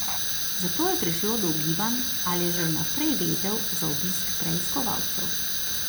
Zato je prišlo do ugibanj, ali je že vnaprej vedel za obisk preiskovalcev.